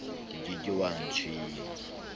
o ke ke wa tshwengwa